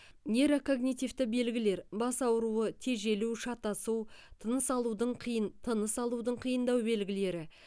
нейрокогнитивті белгілер бас ауруы тежелу шатасу тыныс алудың қиын тыныс алудың қиындау белгілері